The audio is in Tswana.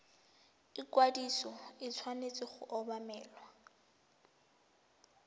ikwadiso e tshwanetse go obamelwa